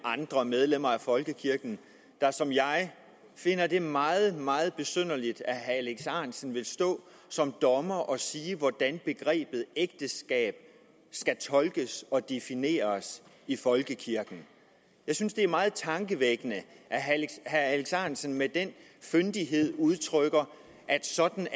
andre medlemmer af folkekirken der som jeg finder det meget meget besynderligt at herre alex ahrendtsen vil stå som dommer og sige hvordan begrebet ægteskab skal tolkes og defineres i folkekirken jeg synes det er meget tankevækkende at herre alex ahrendtsen med den fyndighed udtrykker at sådan